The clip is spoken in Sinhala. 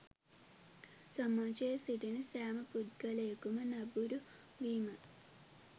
සමාජයේ සිටින සෑම පුද්ගලයකුම නැඹුරු වීමයි